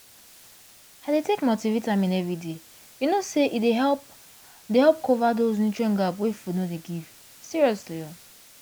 i dey take multivitamin every day you know say e dey help dey help cover those nutrient gap wey food no dey give seriously